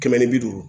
Kɛmɛ ni bi duuru